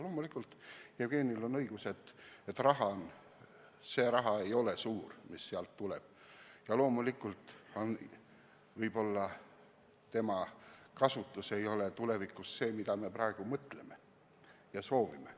Loomulikult Jevgenil on õigus, et see raha ei ole suur, mis valitsuselt tuleb, ja loomulikult võib-olla põlevkivi kasutus ei ole tulevikus see, mida me praegu mõtleme ja soovime.